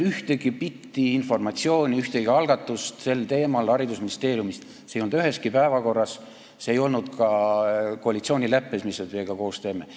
Ühtegi bitti informatsiooni, ühtegi algatust sel teemal ei olnud haridusministeeriumis, see ei olnud üheski päevakorras, see ei olnud ka selles koalitsioonileppes, mille me teiega koos tegime.